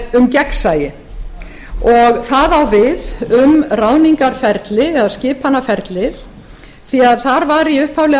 um gegnsæi það á við um ráðningarferlið eða skipunarferlið því að þar var í upphaflega